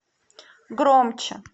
громче